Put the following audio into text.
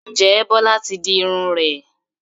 Ǹjẹ́ Bọ́lá ti di irun rẹ̀?